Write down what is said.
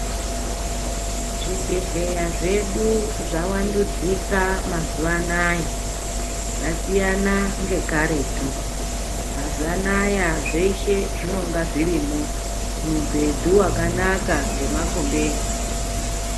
Zvibhlehlera zvedu zvawandudzika mazuvaanaya zvasiyana ngekaretu .Mazuvaanaya zveshe zvinonga zvirimo mubhedu wakanaka nemakumbeze.